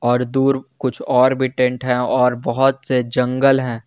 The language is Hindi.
और दूर कुछ और भी टेंट हैं और बहुत से जंगल हैं।